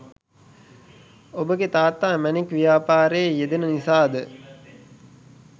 ඔබගෙ තාත්තා මැණික් ව්‍යාපාරයෙ යෙදෙන නිසාද